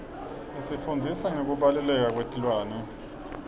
isifundzisa ngekubaluleka kwetilwane